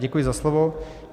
Děkuji za slovo.